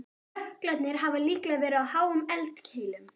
Jöklarnir hafa líklega verið á háum eldkeilum.